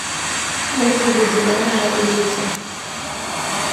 отзывы зеленая улица